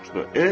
soruşdu.